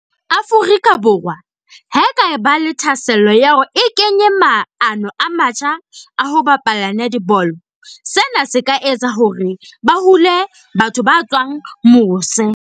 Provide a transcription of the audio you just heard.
Afrika Borwa ha e kaba le thahasello ya hore e kenye maano a matjha a ho bapala netball. Sena se ka etsa hore ba hule batho ba tswang mose.